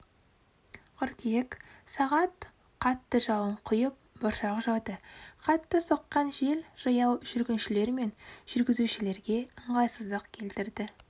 қыркүйек сағат қатты жауын құйып бұршақ жауды қатты соққан жел жаяу жүргіншілер мен жүргізушілерге ыңғайсыздық келтірді